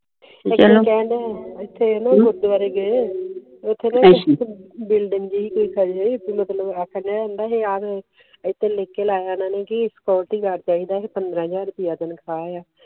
ਇਥੇ ਅਸੀਂ ਗੁਰਦੁਆਰੇ ਗੀ ਉਥੇ ਨਾ ਇਕ ਬੁਲ੍ਡਿੰਗ ਲਿਖ ਕੇ ਲਾਇਆ ਸਕਿਊਰਿਟੀ ਗਾਰਡ ਚਾਹੀਦਾ ਐ ਪੰਦਰਾ ਹਜਾਰ ਚਾਹੀਦਾ ਐ